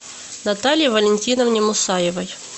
наталье валентиновне мусаевой